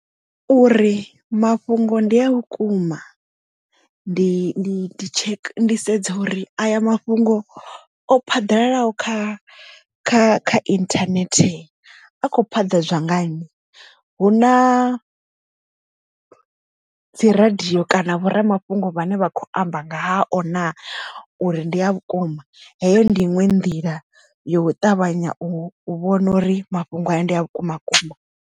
Uri mafhungo ndi a vhukuma ndi ndi sedza uri aya mafhungo o phaḓalalaho kha kha kha internet a kho phaḓadzwa nganyi hu na dzi radio kana vhoramafhungo vhane vha kho amba nga hao na uri ndi a vhukuma heyo ndi iṅwe nḓila yo ṱavhanya u vhona uri mafhungo haya ndi a vhukuma kuma.